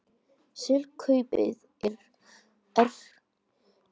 Slík kaup eru stundum kölluð spákaupmennska.